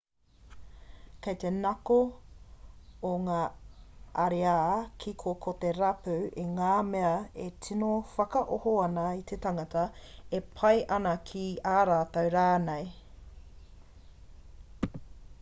kei te ngako o ngā ariā kiko ko te rapu i ngā mea e tino whakaoho ana i te tangata e pai ana ki a rātou rānei